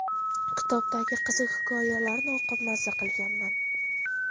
Kitobdagi qiziq hikoyalarni o‘qib maza qilganman.